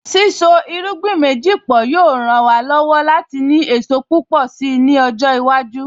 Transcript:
Sísọ irúgbìn méjì pọ̀ yóò ràn wá lọ́wọ́ láti ní èso púpọ̀ si ni ọjọ́ iwájú